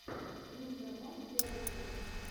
мистер монк первая часть